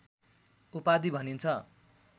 उपाधि भनिन्छ